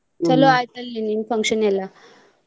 ಚಲೋ ಆಯ್ತ ಅಲ್ರಿ ನಿನ್ನಿ function ಎಲ್ಲಾ.